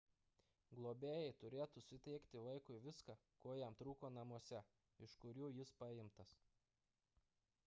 globėjai turėtų suteikti vaikui viską ko jam trūko namuose iš kurių jis paimtas